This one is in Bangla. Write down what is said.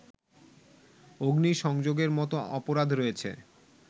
অগ্নিসংযোগের মতো অপরাধ রয়েছে